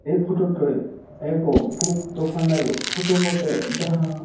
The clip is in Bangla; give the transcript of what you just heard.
এই ফটো টয় এক বুক দোকানের ফটো বটে জাহাঁ--